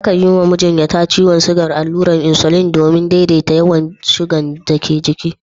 Akan yi wa majinyata ciwon shuga allurar insulin domin daidaita yawan shugan dake jiki